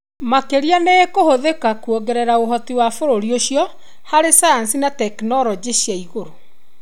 Makĩria, nĩ ĩkũhũthĩka kũongerera ũhoti wa bũrũti ũcio harĩ sayansi na tekinoronjĩ cia igũrũ.